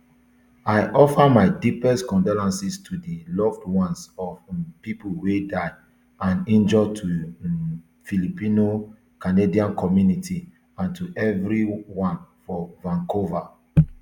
i offer my deepest condolences to di loved ones of um pipo wey die and injure to di um filipino canadian community and to everyone for vancouver